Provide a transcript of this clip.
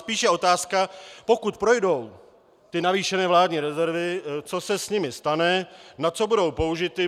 Spíše je otázka, pokud projdou ty navýšené vládní rezervy, co se s nimi stane, na co budou použity.